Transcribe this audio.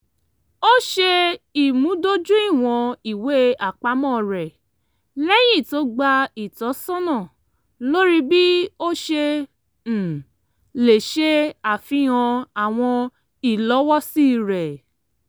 ó ṣe ìmúdójúìwọ̀n ìwé-àpamọ́ rẹ̀ lẹ́yìn tó gba ìtọ́sọ́nà lórí bí ó ṣe um lè ṣe àfihàn àwọn ìlọ́wọ́sí rẹ̀